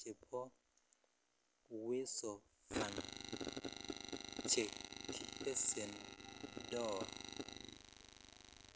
chubo uweso fund chekibesendoi.